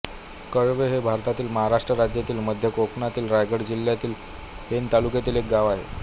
कळवे हे भारतातील महाराष्ट्र राज्यातील मध्य कोकणातील रायगड जिल्ह्यातील पेण तालुक्यातील एक गाव आहे